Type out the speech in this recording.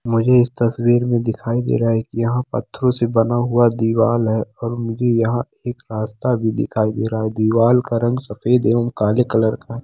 मुझे इस तस्वीर मे दिखाई दे रहा है की यहाँ पत्थरों से बना हुआ दीवाल है और मुझे यहाँ एक रास्ता भी दिखाई दे रहा है दीवाल का रंग सफेद एवं काले कलर का--